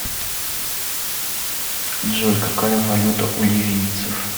джой какая валюта у ливийцев